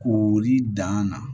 K'ori dan na